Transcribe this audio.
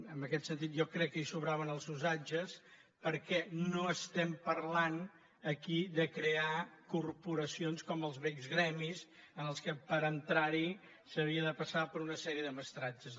en aquest sentit jo crec que hi sobraven els usatges perquè no estem parlant aquí de crear corporacions com els vells gremis en què per entrar hi s’havia de passar per una sèrie de mestratges